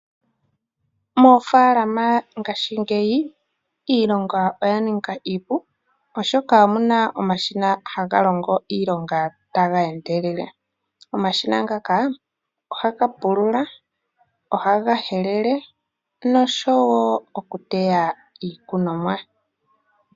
Omashina oga ninga iilonga mofaala iipu oshoka ohagalongo tageendelele, omashina oha gapulula, ohagahelele goo ohahatea woo.